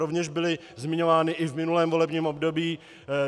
Rovněž byly zmiňovány i v minulém volebním období.